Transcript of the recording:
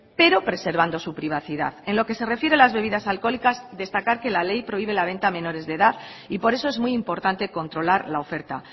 pero preservando su privacidad en lo que se refiere a las bebidas alcohólicas destacar que la ley prohíbe la venta a menores de edad y por eso es muy importante controlar la oferta